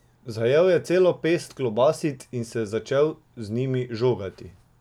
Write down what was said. Zajel je celo pest klobasic in se začel z njimi žogati.